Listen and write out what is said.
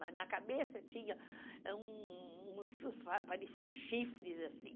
Mas na cabeça tinha um um, uns, pareciam chifres, assim.